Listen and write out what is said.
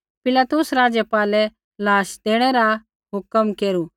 पिलातुस राज़पालै लाश देणै रा हुक्मा केरू